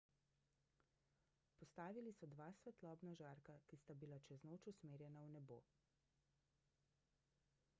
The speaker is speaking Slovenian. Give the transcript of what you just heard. postavili so dva svetlobna žarka ki sta bila čez noč usmerjena v nebo